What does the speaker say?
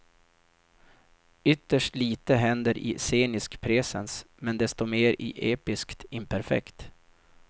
Ytterst lite händer i sceniskt presens, men desto mer i episkt imperfekt.